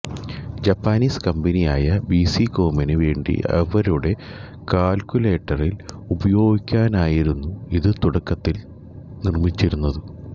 Japanese കമ്പനിയായ ബിസികോമിനു വേണ്ടി അവരുടെ കാൽകുലേറ്ററിൽ ഉപയോഗിക്കാനായിരുന്നു ഇത് തുടക്കത്തിൽ നിർമ്മിച്ചിരുന്നത്